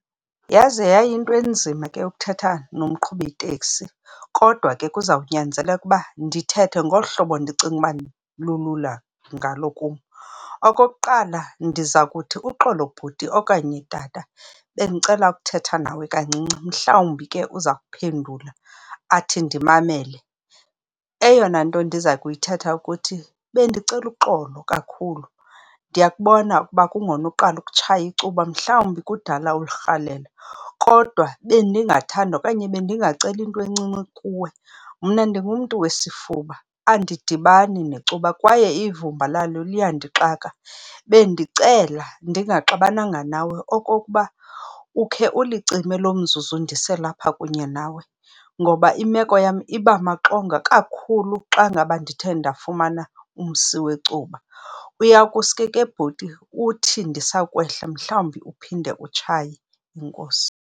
Yaze yayinto enzima ke ukuthetha nomqhubitekisi kodwa ke kuzawunyanzeleka ukuba ndithethe ngolu hlobo ndicinga uba lulula ngalo kum. Okokuqala ndiza kuthi, uxolo bhuti okanye tata bendicela ukuthetha nawe kancinci. Mhlawumbi ke uza kuphendula athi, ndimamele. Eyona nto ndiza kuyithetha ukuthi, bendicela uxolo kakhulu ndiyakubona ukuba kungona uqala ukutshaya icuba mhlawumbi kudala ulirhalela, kodwa bendingathanda okanye bendingacela into encinci kuwe, mna ndingumntu wesifuba andidibani necuba kwaye ivumba lalo liyandixaka. Bendicela ndingaxabananga nawe okokuba ukhe ulicime lo mzuzu ndiselapha kunye nawe, ngoba imeko yam iba maxongo kakhulu xa ngaba ndithe ndafumana umsi wecuba. Uya kusuke ke bhuti uthi ndisakwehla mhlawumbi uphinde utshaye, enkosi.